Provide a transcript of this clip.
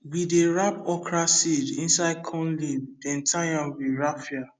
we dey wrap okra seed inside corn leaf then tie am with raffia